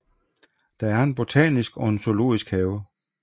Der er en botanisk og en zoologisk have